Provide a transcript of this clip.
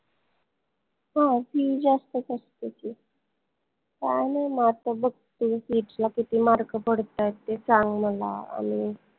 हो fee जास्तच असते की पाहान mark बघ तुला CET ला किती mark पडतायत ते सांग मला always